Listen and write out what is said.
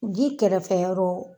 Ji kɛrɛfɛ yɔrɔw